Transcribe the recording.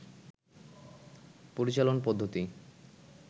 পরিচালন পদ্ধতি